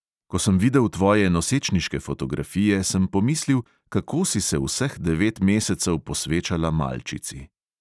Ko sem videl tvoje nosečniške fotografije, sem pomislil, kako si se vseh devet mesecev posvečala malčici.